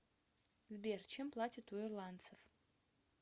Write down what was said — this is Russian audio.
сбер чем платят у ирландцев